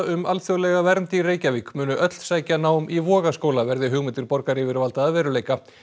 um alþjóðlega vernd í Reykjavík munu öll sækja nám í Vogaskóla verði hugmyndir borgaryfirvalda að veruleika